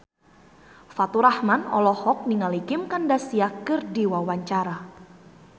Faturrahman olohok ningali Kim Kardashian keur diwawancara